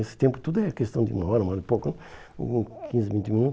Esse tempo tudo é questão de uma hora, uma hora e pouco, hum quinze, vinte minutos.